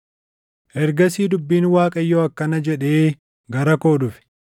Ergasii dubbiin Waaqayyoo akkana jedhee gara koo dhufe;